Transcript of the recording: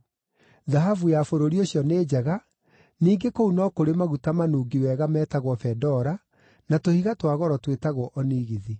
(Thahabu ya bũrũri ũcio nĩ njega; ningĩ kũu no kũrĩ maguta manungi wega metagwo bendora, na tũhiga twa goro twĩtagwo onigithi.)